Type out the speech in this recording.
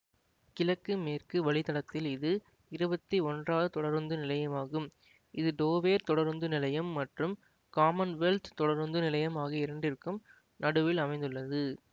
கிழக்கு மேற்கு வழித்தடத்தில் இது இருவத்தி ஒன்றாவது தொடருந்துநிலையமாகும் இது டோவெர் தொடருந்து நிலையம் மற்றும் காமன்வெல்த் தொடருந்து நிலையம் ஆகிய இரண்டிற்கும் நடுவில் அமைந்துள்ளது